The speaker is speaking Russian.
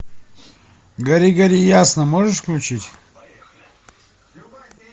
гори гори ясно можешь включить